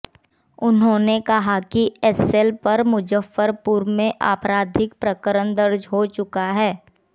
उन्होंने कहा कि एस्सेल पर मुजफ्फरपुर में आपराधिक प्रकरण दर्ज हो चुका है